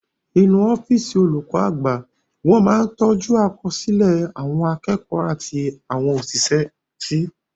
Inú ọ́físì olùkọ́ àgbà wọn máa ń tọ́jú àkọsílẹ̀ àwọn akẹ́kọ̀ọ́ àti àwọn òṣìṣẹ́ sí